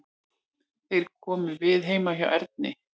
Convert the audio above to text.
Þeir komu við heima hjá Erni.